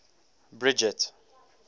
bridget